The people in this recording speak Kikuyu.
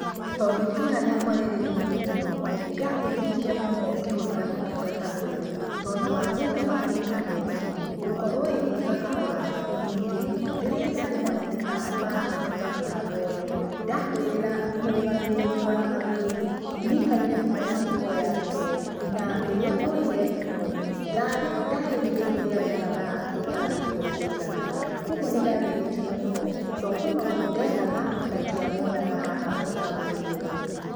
Tondũ itũra rĩakwa rĩrĩ thĩinĩ mũno, nĩndathĩnĩkire mũno ngĩhũthĩra ũtungata ũyũ, tondũ wa thĩna wa intaneti, gũkorwo ĩgĩka kahora, ningĩ rĩrĩa ndarĩ na mathĩna ma kũhũthĩra mũtambo ũyũ, ndahũrĩra mũrũgamĩrĩri wa agũri, nĩaikarire mũno angĩkoya thimũ, na rĩrĩa oire thimũ ndandarĩirie ũria ndendaga gũtarĩrio kũigana, koguo nĩndathĩnĩkire mũno, tondũ he maũndũ ndethaga nandiamonaga haha mũtamboinĩ ũyũ.